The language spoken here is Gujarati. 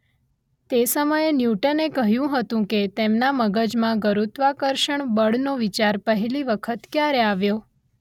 તે સમયે ન્યૂટને કહ્યું હતું કે તેમના મગજમાં ગુરુત્વાકર્ષણ બળનો વિચાર પહેલી વખત ક્યારે આવ્યો